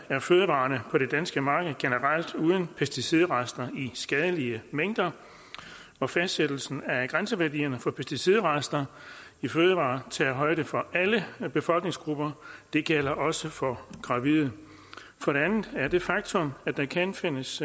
er fødevarerne på det danske marked generelt uden pesticidrester i skadelige mængder og fastsættelsen af grænseværdierne for pesticidrester i fødevarer tager højde for alle befolkningsgrupper det gælder også for gravide for det andet er det faktum at der kan findes